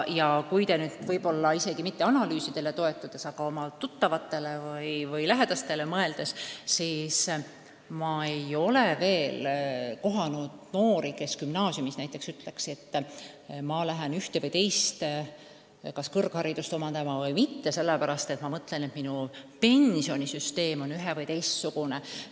Ja kui te nüüd võib-olla mitte mingitele analüüsidele, vaid oma tuttavatele või lähedastele mõtlete, siis ehk leiate, et te ei tea noori, kes gümnaasiumis ütleksid, et ma lähen ühte või teist kõrgharidust omandama sellepärast, et minu pension saab siis olema ühe- või teistsugune.